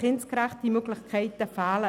Kindgerechte Angebote fehlen.